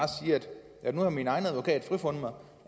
at sige nu har min egen advokat frifundet mig